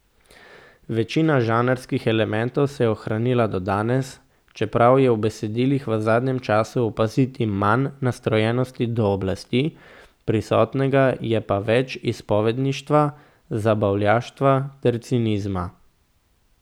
Večina žanrskih elementov se je ohranila do danes, čeprav je v besedilih v zadnjem času opaziti manj nastrojenosti do oblasti, prisotnega je pa več izpovedništva, zabavljaštva ter cinizma.